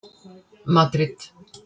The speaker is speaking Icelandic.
Madríd